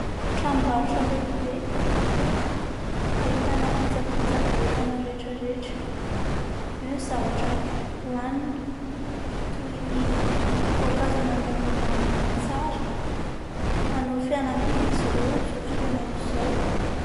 Tranom-barotra lehibe ahitana kojakojana entana rehetraretra, eo ny zavatra hoanina toy ny voankazo nandrahoana mamy tsara, manao fihenam-bidy izy ireo amin'izao fotoana izao.